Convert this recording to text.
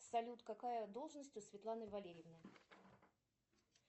салют какая должность у светланы валерьевны